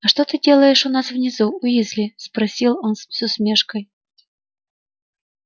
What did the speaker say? а что ты делаешь у нас внизу уизли спросил он с усмешкой